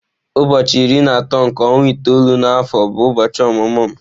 Ụbọọchi iri na atọ nke ọnwa itoolu na afọ bụ ụbọọchi ọmụmụ m.